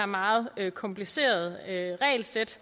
meget komplicerede regelsæt